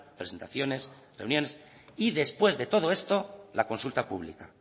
presentaciones reuniones y después de todo esto la consulta pública